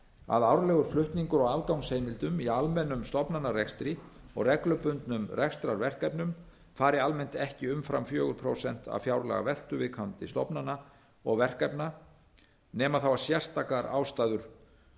að árlegur flutningur á afgangsheimildum í almennum stofnanarekstri og reglubundnum rekstrarverkefnum fari almennt ekki umfram fjögur prósent af fjárlagaveltu viðkomandi stofnana og verkefna nema sérstakar ástæður